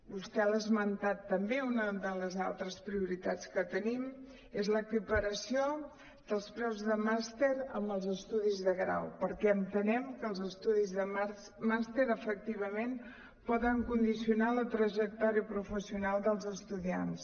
vostè l’ha esmentat també una de les altres prioritats que tenim és l’equi·paració dels preus de màster amb els estudis de grau perquè entenem que els estu·dis de màster efectivament poden condicionar la trajectòria professional dels es·tudiants